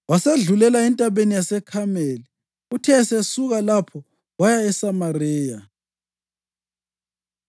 Wasesedlulela eNtabeni yaseKhameli, uthe esesuka lapho waya eSamariya.